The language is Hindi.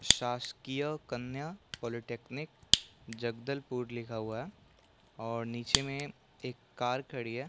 शासकीय कन्या पॉलिटेक्निक जगदलपुर ले हवय और निचे मे एक कार खड़ी है।